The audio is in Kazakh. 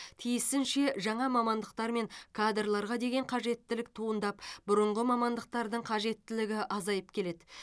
тиісінше жаңа мамандықтар мен кадрларға деген қажеттілік туындап бұрынғы мамандықтардың қажеттілігі азайып келеді